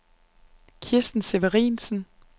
Kirsten Severinsen